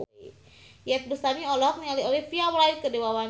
Iyeth Bustami olohok ningali Olivia Wilde keur diwawancara